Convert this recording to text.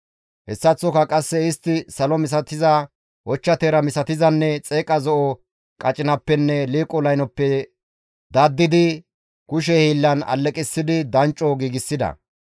Hessaththoka qasse istti salo misatiza, ochcha teera misatizanne xeeqa zo7o qacinappenne liiqo laynoppe daddidi kushe hiillan alleqissidi dancco giigsida.